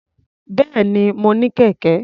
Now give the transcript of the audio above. Bẹ́ẹ̀ni, mo ní kẹ̀kẹ́.